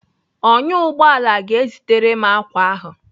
Ọnyá ụgbọala ga-ezitere m ákwà ahụ.